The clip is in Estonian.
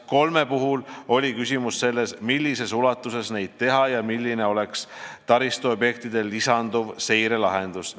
Kolme puhul oli küsimus selles, millises ulatuses seda teha ja milline oleks taristuobjektidele lisanduv seirelahendus.